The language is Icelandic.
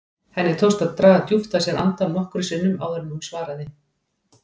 Henni tókst að draga djúpt að sér andann nokkrum sinnum áður en hún svaraði.